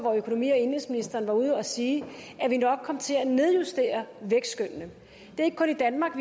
at økonomi og indenrigsministeren var ude at sige at vi nok kom til at nedjustere vækstskønnene det er ikke kun i danmark